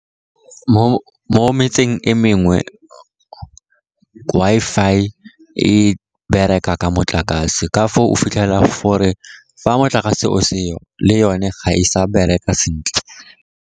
Mo metseng e mengwe Wi-Fi e bereka ka motlakase, ka foo o fitlhela gore fa motlakase o seo le yone ga e sa bereka sentle.